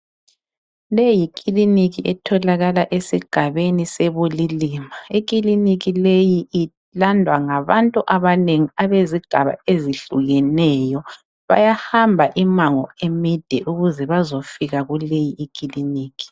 Leyi yikiliniki etholakala esigabeni seBulilima. Ikiliniki leyi ilandwa ngabantu abanengi abezigaba ezihlukeneyo. Bayahamba imango emide ukuze bayefika kuleyi kiliniki.